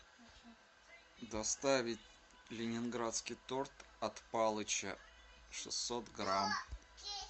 доставить ленинградский торт от палыча шестьсот грамм